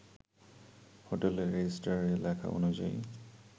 হোটেলে রেজিস্ট্রারে লেখা অনুযায়ী